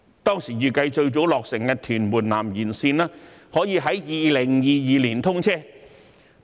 當時預計最早落成的屯門南延綫，可以在2022年通車。